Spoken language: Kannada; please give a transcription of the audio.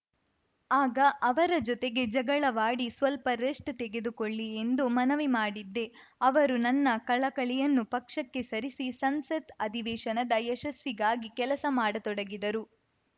ಆಗ ಅವರ ಜೊತೆಗೆ ಜಗಳವಾಡಿ ಸ್ವಲ್ಪ ರೆಸ್ಟ್‌ ತೆಗೆದುಕೊಳ್ಳಿ ಎಂದು ಮನವಿ ಮಾಡಿದ್ದೆ ಅವರು ನನ್ನ ಕಳಕಳಿಯನ್ನು ಪಕ್ಕಕ್ಕೆ ಸರಿಸಿ ಸಂಸತ್‌ ಅಧಿವೇಶನದ ಯಶಸ್ಸಿಗಾಗಿ ಕೆಲಸ ಮಾಡತೊಡಗಿದರು